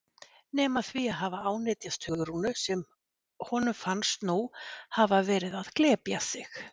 Nema því að hafa ánetjast Hugrúnu sem honum fannst nú hafa verið að glepja sig.